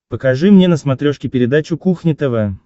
покажи мне на смотрешке передачу кухня тв